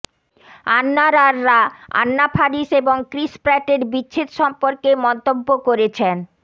আন্নারাররা Anna Faris এবং Chris প্র্যাটের বিচ্ছেদ সম্পর্কে মন্তব্য করেছেন